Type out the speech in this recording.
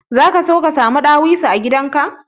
Zaka so ka samu dawisu a gidan ka?